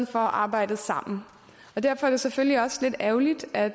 for arbejdet sammen derfor er det selvfølgelig også lidt ærgerligt at